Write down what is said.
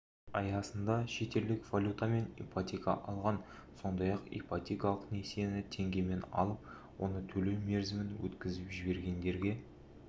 аясында шетелдік валютамен ипотека алған сондай-ақ ипотекалық несиені теңгемен алып оны төлеу мерзімін өткізіп жібергендерге